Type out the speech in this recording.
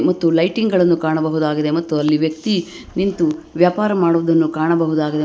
ಮತ್ತು ಲೈಟಿಂಗ್ ಗಳನ್ನು ಕಾಣಬಹುದಾಗಿದೆ ಮತ್ತು ಅಲ್ಲಿ ವ್ಯಕ್ತಿ ನಿಂತು ವ್ಯಾಪಾರ ಮಾಡುವುದನ್ನು ಕಾಣಬಹುದಾಗಿದೆ ಮ್--